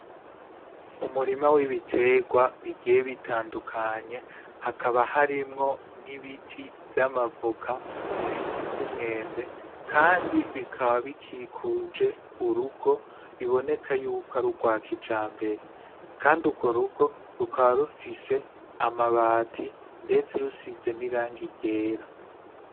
Umurima w'ibiterwa bigiye bitandukanye hakaba harimwo n'ibiti vy'amavuka ibiti vy'umwembe, kandi bikaba bikikuje urugo biboneka yuko ari urwakija mbere, kandi urwo rugo rukaba rufishe amabati mdetse rusize niranga iryera.